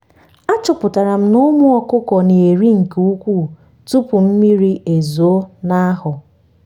a chọputara m na ụmụ ọkụkọ na eri nke ukwu tụpụ mmiri ezoo na ahọ